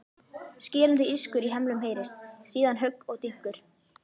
Skerandi ískur í hemlum heyrist, síðan högg og dynkur.